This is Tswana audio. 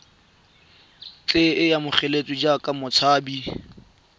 tle a amogelwe jaaka motshabi